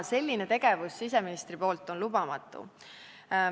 Selline tegevus siseministri poolt on lubamatu.